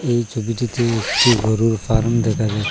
এই ছবিটিতে একটি গরুর ফার্ম দেখা যাচ--